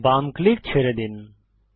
বাম ক্লিক ছেড়ে দিন